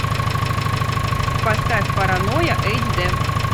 поставь паранойя эйч д